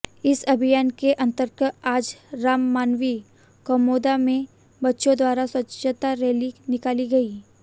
इस अभियान के अंतर्गत आज रावमावि कमौदा में बच्चों द्वारा स्वच्छता रैली निकाली गई